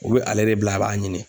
O bɛ ale de bila a b'a ɲini